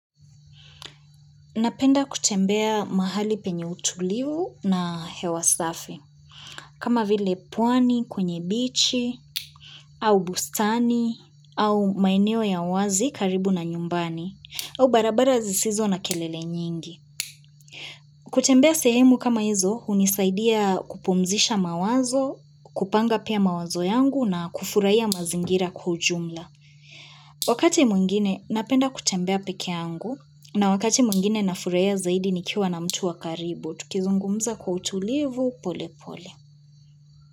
Napenda kutembea mahali penye utulivu na hewa safi, kama vile pwani, kwenye bichi, au bustani, au maeneo ya wazi karibu na nyumbani, au barabara zisizo na kelele nyingi. Kutembea sehemu kama hizo, unisaidia kupumzisha mawazo, kupanga pia mawazo yangu na kufurahia mazingira kwa ujumla. Wakati mwingine napenda kutembea peke angu na wakati mwingine nafurahia zaidi nikiwa na mtu wa karibu, tukizungumza kwa utulivu pole pole.